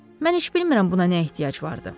Mən heç bilmirəm buna nə ehtiyac vardı.